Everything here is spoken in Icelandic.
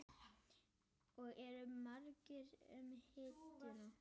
Og eru margir um hituna?